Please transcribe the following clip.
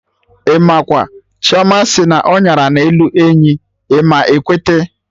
Imakwa! Chioma sị na ọnyara na-elu enyi, ịma ekwete!